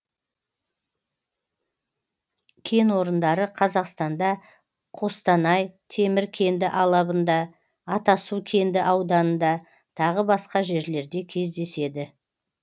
кен орындары қазақстанда қостанай темір кенді алабында атасу кенді ауданында тағы басқа жерлерде кездеседі